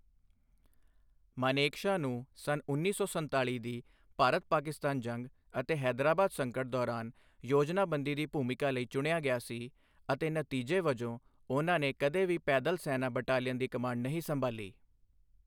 ਮਾਨੇਕਸ਼ਾ ਨੂੰ ਸੰਨ ਉੱਨੀ ਸੌ ਸੰਤਾਲੀ ਦੀ ਭਾਰਤ ਪਾਕਿਸਤਾਨ ਜੰਗ ਅਤੇ ਹੈਦਰਾਬਾਦ ਸੰਕਟ ਦੌਰਾਨ ਯੋਜਨਾਬੰਦੀ ਦੀ ਭੂਮਿਕਾ ਲਈ ਚੁਣਿਆ ਗਿਆ ਸੀ ਅਤੇ ਨਤੀਜੇ ਵਜੋਂ, ਉਹਨਾਂ ਨੇ ਕਦੇ ਵੀ ਪੈਦਲ ਸੈਨਾ ਬਟਾਲੀਅਨ ਦੀ ਕਮਾਂਡ ਨਹੀਂ ਸੰਭਾਲੀ।